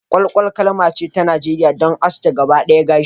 Kwalkwal kalma ce ta Najeriya don aske gaba ɗawa gashi